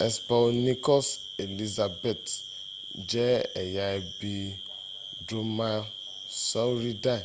hesperonychus elizabethae je eya ebi dromaeosauridae